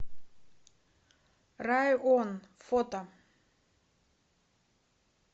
район фото